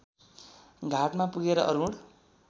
घाटमा पुगेर अरुण